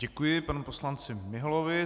Děkuji panu poslanci Miholovi.